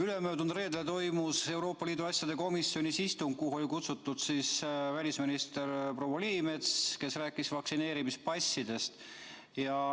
Ülemöödunud reedel toimus Euroopa Liidu asjade komisjoni istung, kuhu oli kutsutud välisminister proua Liimets, kes rääkis vaktsineerimispassidest.